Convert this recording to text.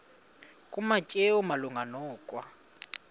kumateyu malunga nokwa